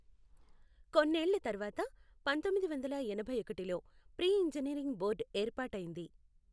కొన్నేళ్ల తర్వాత పంథొమ్మిదిద్ వందల ఎనభై ఒకటిలో ప్రీ ఇంజనీరింగ్ బోర్డు ఏర్పాటైంది.